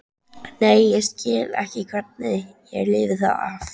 Nei, ég bara skil ekki hvernig ég lifði það af.